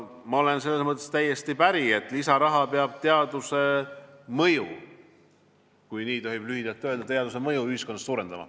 Ma olen selles mõttes teiega täiesti päri, et lisaraha peab teaduse mõju, kui nii tohib lühidalt öelda, ühiskonnas suurendama.